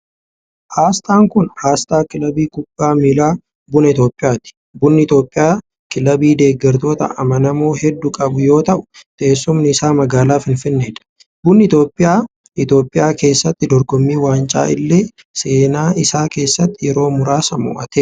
Asxaan kun, asxaa kilabii kubbaa miilaa Buna Itoophiyaati. Bunni Itoophiyaa kilabii deeggartoota amanamoo hedduu qabu yoo ta'u, teessumni isaa magaalaa Finfinnee dha. Bunni Itoophiyaa Itoophiyaa keessatti dorgommii waancaa illee seenaa isaa keessatti yeroo muraasa mo'ateera.